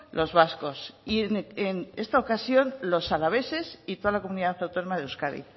los vascos y en esta ocasión los alaveses y toda la comunidad autónoma de euskadi